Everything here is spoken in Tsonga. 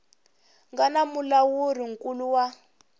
nga na mulawuri nkulu wa